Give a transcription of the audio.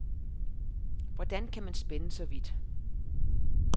Hvordan kan man spænde så vidt.